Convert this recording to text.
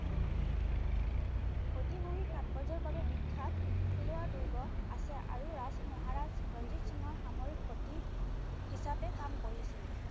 ঐতিহাসিক তাতপৰ্য্যৰ বাবে বিখ্যাত ফিলোৱাৰ দূৰ্গ আছে, আৰু ৰাজ-মহাৰাজ ৰঞ্জিত সিঙৰ সামৰিক খতি হিচাপে কাম কৰিছিল।